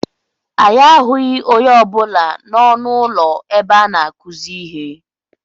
Anyị ahụghị onye ọ bụla n'ọnụ ụlọ ebe a na-akuzi ihe.